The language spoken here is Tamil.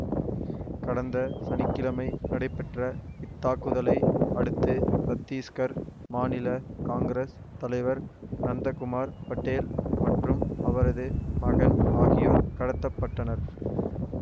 கடந்த சனி கிழமை நடைபெற்ற இத்தாக்குதலை அடுத்து சத்தீசுக்கர் மாநில காங்கிரஸ் தலைவர் நந்தகுமார் பட்டேல் மற்றும் அவரது மகன் ஆகியோர் கடத்த பட்டனர்